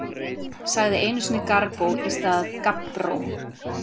Sagði einu sinni Garbó í stað gabbró.